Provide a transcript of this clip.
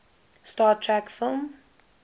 star trek film